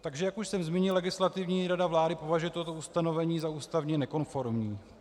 Takže jak už jsem zmínil, Legislativní rada vlády považuje toto ustanovení za ústavně nekonformní.